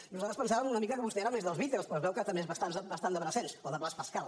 nosaltres pensàvem una mica que vostè era més dels beatles però es veu que també és bastant de brassens o de blaise pascal